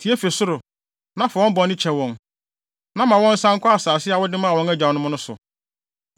tie fi ɔsoro, na fa wɔn bɔne kyɛ wɔn, na ma wɔnsan nkɔ asase a wode maa wɔn agyanom no so.